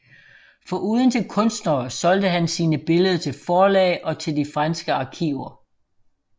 Foruden til kunstnere solgte han sine billeder til forlag og til de franske arkiver